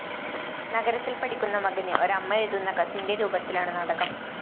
നഗരത്തില്‍ പഠിക്കുന്ന മകന് ഒരമ്മ എഴുതുന്ന കത്തിന്റെ രൂപത്തിലാണ് നാടകം